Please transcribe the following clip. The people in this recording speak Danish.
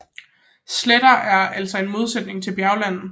Sletter er altså en modsætning til bjergland